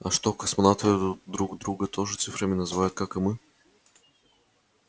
а что космонавты друг друга тоже цифрами называют как и мы